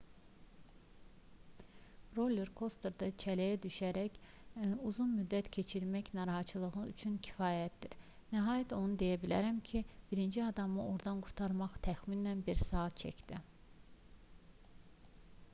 roller kosterdə cələyə düşərək uzun müddət keçirmək narahatçılıq üçün kifayyətdir nəhayət onu deyə bilərəm ki birinci adamı ordan qurtarmaq təxminən bir saat çəkdi